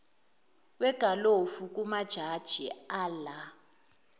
wegalofu kumajaji ala